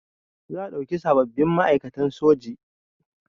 Za a ɗauki sababbin ma'aikatan soji